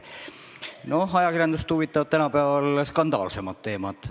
No ajakirjandust huvitavad tänapäeval skandaalsemad teemad.